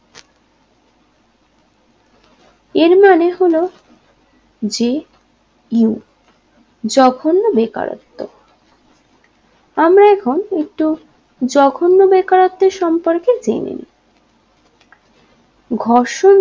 এর মানে হলো j u জঘন্য বেকারত্ব আমরা এখন একটু জঘন্য বেকারত্বের সম্পর্কের জেনে নেই ঘর্ষণ